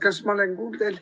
Kas ma olen kuuldav?